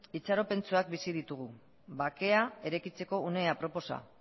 itxaropentsuak bizi ditugu bakea eraikitzeko une aproposa